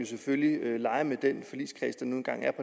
selvfølgelig lege med den forligskreds der nu engang er